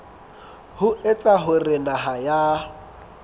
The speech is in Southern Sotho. ho etsa hore naha ya